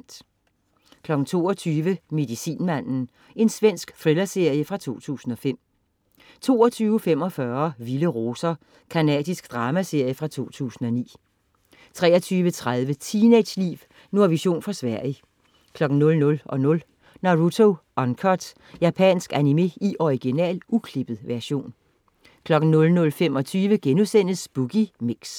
22.00 Medicinmanden. Svensk thrillerserie fra 2005 22.45 Vilde roser. Canadisk dramaserie fra 2009 23.30 Teenageliv. Nordvision fra Sverige. 00.00 Naruto Uncut. Japansk animé i original, uklippet version 00.25 Boogie Mix*